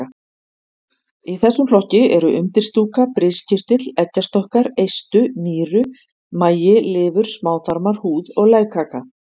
Í þessum flokki eru undirstúka, briskirtill, eggjastokkar, eistu, nýru, magi, lifur, smáþarmar, húð og legkaka.